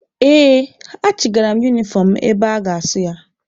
Ee, achigara m unifọm mụ ebe a ga-asụ ya.